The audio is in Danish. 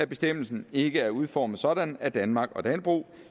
bestemmelse ikke er udformet sådan at danmark og dannebrog